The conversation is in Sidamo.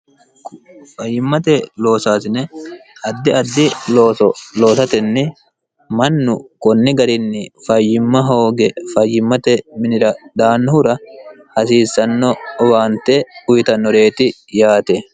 fayyimmate loosaasine haddi addi ooo lootatenni mannu konni garinni fayyimma hooge fayyimmate minira dhaannohura hasiissanno owaante uwitannoreeti yaate